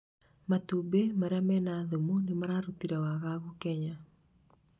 matumbĩ maria mena thumu nĩmarũtĩte wagagu Kenya